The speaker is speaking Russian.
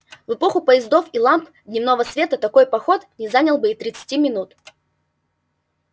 в эпоху поездов и ламп дневного света такой поход не занял бы и тридцати минут